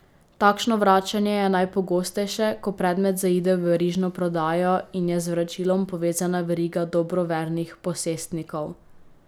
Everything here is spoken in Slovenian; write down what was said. Takšno vračanje je najpogostejše, ko predmet zaide v verižno prodajo in je z vračilom povezana veriga dobrovernih posestnikov.